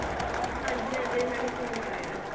ਹਾਂਜੀ ਹਾਂਜੀ ਮੈਂ ਵੀ ਸੁਣਿਆ ਹੋਇਆ